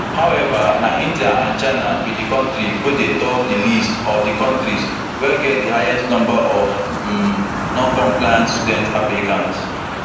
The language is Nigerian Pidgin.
however na india and china be di kontris wey dey top di list of di kontris wey get di highest number of um noncompliant student applicants